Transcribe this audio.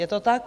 Je to tak?